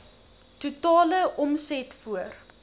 totale omset voor